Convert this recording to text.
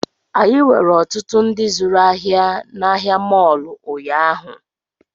Anyị nwere ọtụtụ ndị zụrụ ahịa na ahịa mọọlụ ụnyaahụ